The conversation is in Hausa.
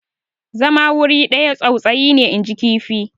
zama wuri ɗaya tsautsayi ne inji kifi